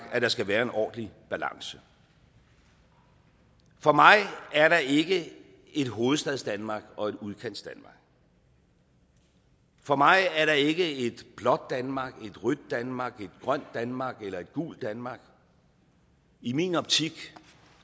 at der skal være en ordentlig balance for mig er der ikke et hovedstadsdanmark og et udkantsdanmark for mig er der ikke et blåt danmark et rødt danmark et grønt danmark eller et gult danmark i min optik